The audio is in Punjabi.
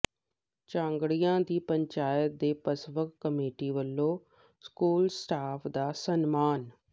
ਝਾਂਗੜੀਆਂ ਦੀ ਪੰਚਾਇਤ ਤੇ ਪਸਵਕ ਕਮੇਟੀ ਵੱਲੋਂ ਸਕੂਲ ਸਟਾਫ਼ ਦਾ ਸਨਮਾਨ